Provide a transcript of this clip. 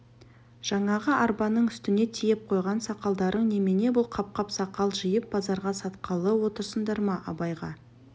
жаңағы арбаның үстіне тиеп қойған сақалдарың немене бұл қап-қап сақал жиып базарға сатқалы отырсыңдар ма абайға